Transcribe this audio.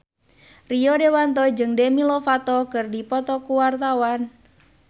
Rio Dewanto jeung Demi Lovato keur dipoto ku wartawan